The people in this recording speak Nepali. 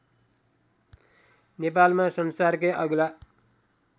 नेपालमा संसारकै अग्ला